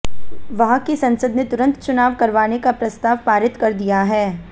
वहां की संसद ने तुरंत चुनाव करवाने का प्रस्ताव पारित कर दिया है